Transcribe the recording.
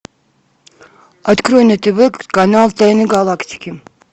открой на тв канал тайны галактики